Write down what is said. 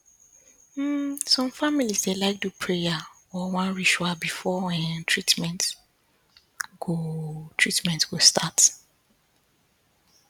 um some families dey like do prayer or one ritual before um treatment go um treatment go start um